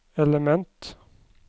element